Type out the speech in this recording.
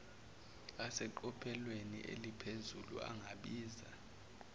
aseqophelweni aliphezulu angabiza